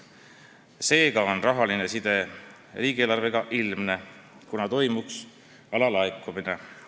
Seega on rahaline mõju riigieelarvele ilmne: tegu oleks alalaekumisega.